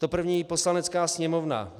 To první: "Poslanecká sněmovna